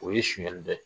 O ye sunyali dɔ ye